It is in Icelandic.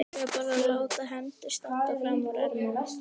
Þá var bara að láta hendur standa frammúr ermum.